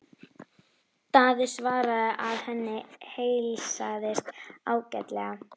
Daði svaraði að henni heilsaðist ágætlega.